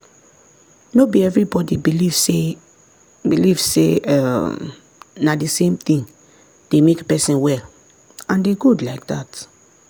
no be everybody believe say believe say um na the same thing dey make person well and e good like dat.